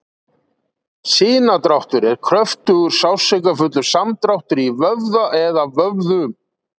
Sinadráttur er kröftugur, sársaukafullur samdráttur í vöðva eða vöðvum.